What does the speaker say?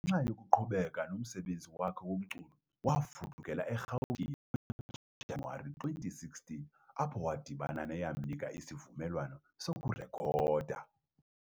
Ngenxa yokuqhubeka nomsebenzi wakhe womculo, wafudukela eRhawutini ngoJanuwari 2016, apho wadibana neyamnika isivumelwano sokurekhoda.